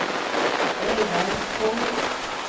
Reidar Holst